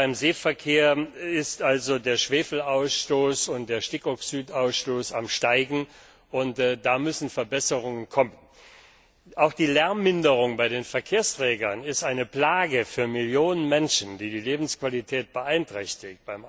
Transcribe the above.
Gerade beim Seeverkehr ist der Schwefelausstoß und der Stickoxidausstoß am Steigen, und da müssen Verbesserungen kommen. Auch die Zunahme von Lärm bei den Verkehrsträgern ist eine Plage für Millionen Menschen, die die Lebensqualität beeinträchtigt.